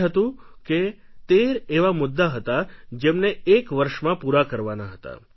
તે હતું કે તેર એવા મુદ્દા હતા જેમને એક વર્ષમાં પૂરા કરવાના હતા